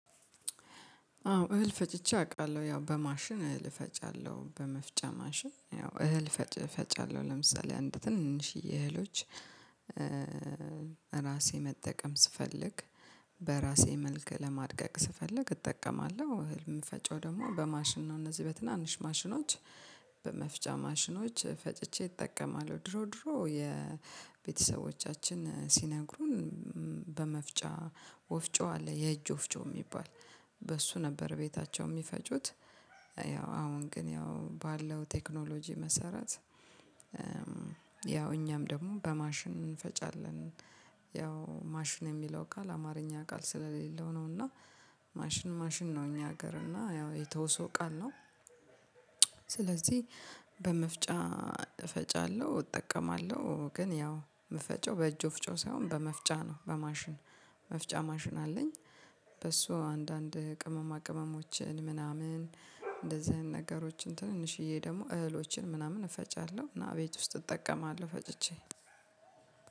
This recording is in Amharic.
አዎ እህል ፈጭቼ አውቃለሁ ያው በማሽን እህል ፈጫለሁ በመፍጫ ማሽን ያው እህል ፈጫለሁ አለው ለምሳሌ አንድ ትንሽዬ እህሎች። ራሴ መጠቀም ስፈልግ በራሴ መልክ ለማድቀቅ ስፈልግ እጠቀማለሁ። እህል ምፈጨው ደግሞ በማሽን ነው እነዚህ በትናንሽ ማሽኖች በመፍጫ ማሽኖች ፈጭቼ እጠቀማለሁ። ድሮ ድሮ የቤተሰቦቻችን ሲነግሩን በመፍጫ ወፍጮ አለ የእጅ ወፍጮ የሚባል በሱ ነበር ቤታቸው የሚፈጩት። ያው አሁን ግን ያው ባለው ቴክኖሎጂ መሰረት ያው እኛም ደግሞ በማሽን እንፈጫለን። ያው ማሽን የሚለው ቃል አማርኛ ቃል ስለሌለው ነው እና ማሽን ማሽን ነው እኛ ሀገር እና ያው የተውሶ ቃል ነው። ስለዚህ በመፍጫ እፈጫለሁ እጠቀማለሁ ግን ያው የምፈጨው በእጅ ወፍጮ ሳይሆን በመፍጫ ነው በማሽን መፍጫ ማሽን አለኝ። በሱ አንዳንድ ቅመማ ቅመሞችን ምናምን እንደዚህ ነገሮችን ትንንሽዬ ደግሞ እህሎችን ምናምን እፈጫለሁ እና ቤት ውስጥ እጠቀማለሁ ፈጭቼ።